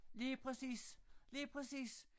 Lige præcis lige præcis